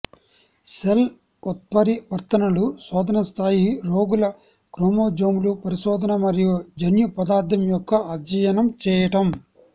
cell ఉత్పరివర్తనలు శోధన స్థాయి రోగుల క్రోమోజోమ్లు పరిశోధన మరియు జన్యు పదార్థం యొక్క అధ్యయనం చెయ్యటం